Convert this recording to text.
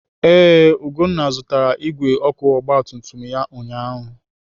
Ee, Ugonna zụtara igwe ọkụ ọgbatumtum ya ụnyaahụ.